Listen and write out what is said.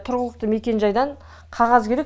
тұрғылықты мекенжайдан қағаз керек